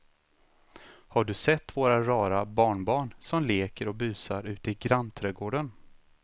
Har du sett våra rara barnbarn som leker och busar ute i grannträdgården!